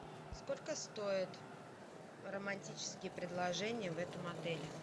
сколько стоят романтические предложения в этом отеле